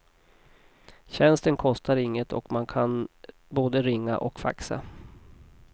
Tjänsten kostar inget och man kan både ringa och faxa.